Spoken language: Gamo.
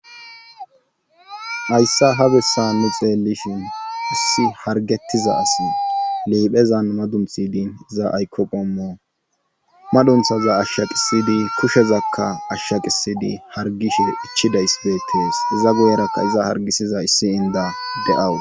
hayssa ha bessa nu xeellishin issi hargettiza asi liiphezan madunthidin iza aykoqommo madunthaza ashsha qisidi kushezakka ashsha qisidi hargishe ichchidays beettees iza guyerakka iza hargisiza issi inda de7awu